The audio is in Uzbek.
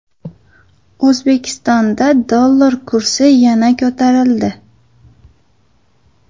O‘zbekistonda dollar kursi yana ko‘tarildi.